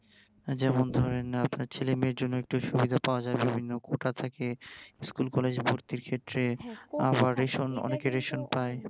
যেমন ধরেন আপনার ছেলেমেয়ের জন্য একটু সুবিধা পাওয়া যায় বিভিন্ন কোটা থাকে school college ভর্তির ক্ষেত্রে আবার অনেকে রেশন পায়